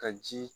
Ka ji